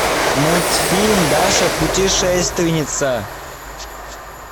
мультфильм даша путешественница